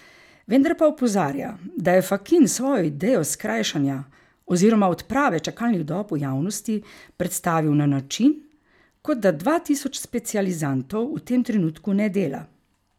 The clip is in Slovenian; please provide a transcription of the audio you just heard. Vendar pa opozarja, da je Fakin svojo idejo skrajšanja oziroma odprave čakalnih dob v javnosti predstavil na način, kot da dva tisoč specializantov v tem trenutku ne dela.